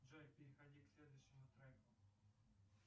джой переходи к следующему треку